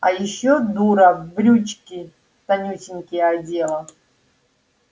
а я ещё дура брючки тонюсенькие одела